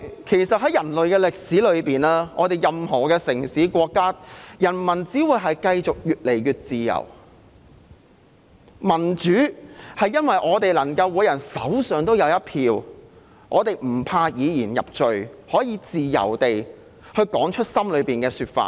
其實，在人類的歷史中，任何城市和國家的人民只會越來越自由，民主是每人手上都有一票，不怕以言入罪，可以自由地說出心裏的想法。